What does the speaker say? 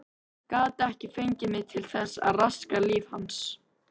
Gat ekki fengið mig til þess að raska lífi hans.